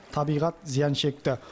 табиғат зиян шекті